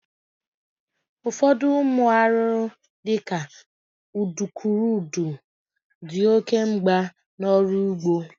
Ụfọdụ ụmụ arụrụ di ka udukurudu di oke mgba n'ọrụ ugbo